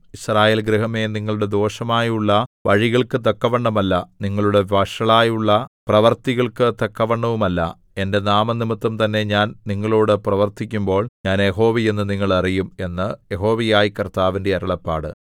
യിസ്രായേൽ ഗൃഹമേ നിങ്ങളുടെ ദോഷമായുള്ള വഴികൾക്കു തക്കവണ്ണമല്ല നിങ്ങളുടെ വഷളായുള്ള പ്രവൃത്തികൾക്കു തക്കവണ്ണവുമല്ല എന്റെ നാമംനിമിത്തം തന്നെ ഞാൻ നിങ്ങളോടു പ്രവർത്തിക്കുമ്പോൾ ഞാൻ യഹോവ എന്ന് നിങ്ങൾ അറിയും എന്ന് യഹോവയായ കർത്താവിന്റെ അരുളപ്പാട്